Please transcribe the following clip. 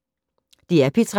DR P3